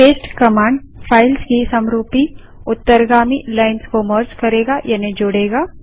paste command files की समरूपी उत्तरगामी लाइन्स को मर्ज करेगा यानि जोड़ेगा